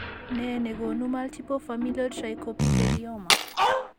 Nee nekoonu multiple familial trichoepithelioma?